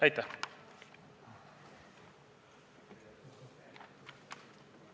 Aitäh!